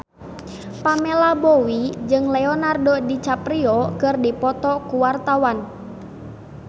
Pamela Bowie jeung Leonardo DiCaprio keur dipoto ku wartawan